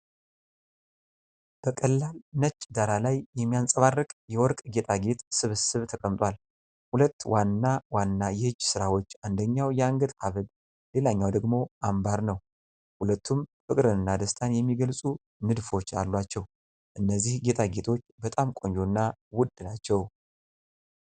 በቀላል ነጭ ዳራ ላይ የሚያብረቀርቅ የወርቅ ጌጣጌጥ ስብስብ ተቀምጧል። ሁለት ዋና ዋና የእጅ ሥራዎች፣ አንደኛው የአንገት ሐብል ሌላኛው ደግሞ አምባር ነው። ሁለቱም ፍቅርንና ደስታን የሚገልጹ ንድፎች አሏቸው። እነዚህ ጌጣጌጦች በጣም ቆንጆና ውድ ናቸው።